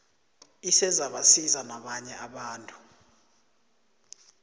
isezabasiza nabanye abantu